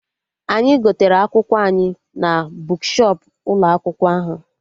Anyị gotere akwụkwọ anyị na bukshọp ụlọ akwụkwọ ahụ